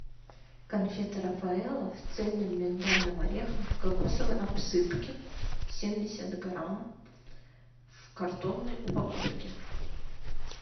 конфеты рафаэлло с цельным миндальным орехом в кокосовой обсыпке семьдесят грамм в картонной упаковке